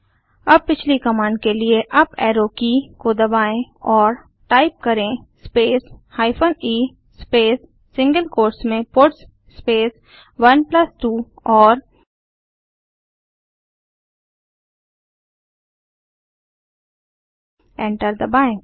अब पिछली कमांड के लिए अप एरो की को दबाएं और टाइप करें space hyphen e space single quotes में पट्स स्पेस 12 और एंटर दबाएँ